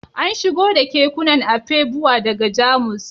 An shigo da kekunan Afegbua daga Jamus